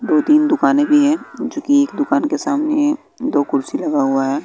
दो तीन दुकानें भी हैं जो की एक दुकान के सामने दो कुर्सी लगा हुआ है।